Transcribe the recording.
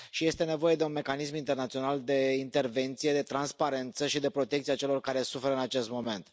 Și este nevoie de un mecanism internațional de intervenție, de transparență și de protecție a celor care suferă în acest moment.